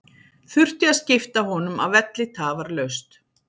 Þurfti að skipta honum af velli tafarlaust.